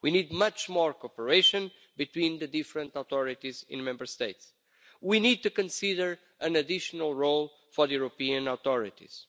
We need much more cooperation between the different authorities in Member States. We need to consider an additional role for the European authorities.